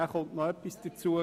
Dann kommt noch etwas hinzu.